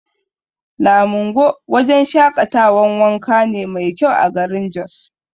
Lamingo wajan shaƙatawan wanka ne mai kyau a garin Jos